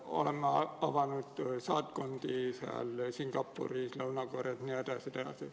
Oleme avanud saatkondi näiteks Singapuris, Lõuna-Koreas jne.